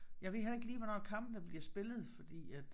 Jeg ved heller ikke lige hvornår kampene bliver spillet fordi at